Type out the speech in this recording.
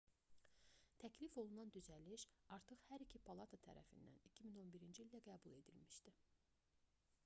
təklif olunan düzəliş artıq hər iki palata tərəfindən 2011-ci ildə qəbul edilmişdi